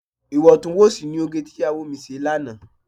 Iwọntún-wọnsì ni òge tí ìyàwó mi ṣe lánàá.